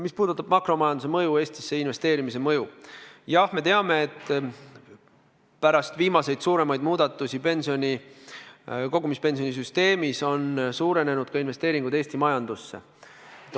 Mis puudutab mõju makromajandusele, Eestisse investeerimisele, siis me teame, et pärast viimaseid suuremaid muudatusi kogumispensioni süsteemis on suurenenud ka investeeringud Eesti majandusse.